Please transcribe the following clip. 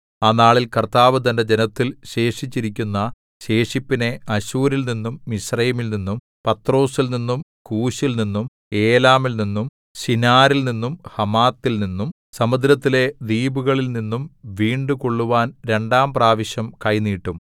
ആ നാളിൽ കർത്താവ് തന്റെ ജനത്തിൽ ശേഷിച്ചിരിക്കുന്ന ശേഷിപ്പിനെ അശ്ശൂരിൽനിന്നും മിസ്രയീമിൽനിന്നും പത്രോസിൽനിന്നും കൂശിൽനിന്നും ഏലാമിൽനിന്നും ശിനാരിൽനിന്നും ഹമാത്തിൽനിന്നും സമുദ്രത്തിലെ ദ്വീപുകളിൽനിന്നും വീണ്ടുകൊള്ളുവാൻ രണ്ടാം പ്രാവശ്യം കൈ നീട്ടും